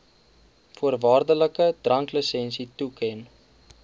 voorwaardelike dranklisensie toeken